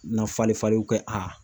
Na fali falenw kɛ